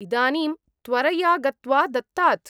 इदानीं त्वरया गत्वा दत्तात्।